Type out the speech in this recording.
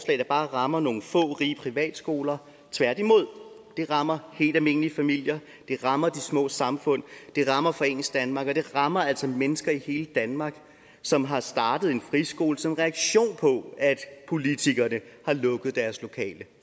der bare rammer nogle få rige privatskoler tværtimod rammer helt almindelige familier det rammer de små samfund det rammer foreningsdanmark og det rammer altså mennesker i hele danmark som har startet en friskole som reaktion på at politikerne har lukket deres lokale